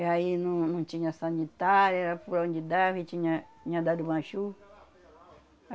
E aí não não tinha sanitário, era por onde dava e tinha tinha dado uma chuva.